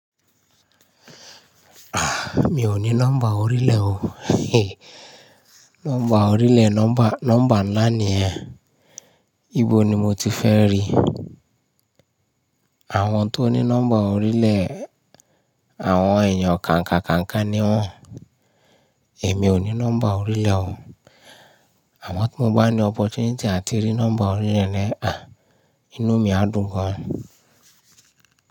Mi ò ní nọ́mbà orílẹ̀ o. Nọ́mbà orílẹ̀, nọ́mbà ńlá ni ẹ. Íbo ni mo ti fẹ́ rí? Àwọn tó ní nọ́mbà orílẹ̀, àwọn èèyàn kàǹkàkàǹkà ni wọ́n. Èmi ò ní nọ́mbà orílẹ̀ o. Ànọ̀ tí mo bá ní opportunity áti rí nọ́mbà orílẹ̀ ni, inú mi á dùn gan.